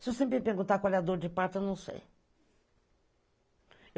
Se eu sempre perguntar qual é a dor de parto, eu não sei.